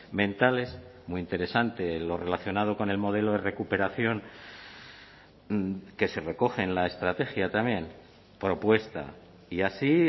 mentales muy interesante lo relacionado con el modelo de recuperación que se recoge en la estrategia también propuesta y así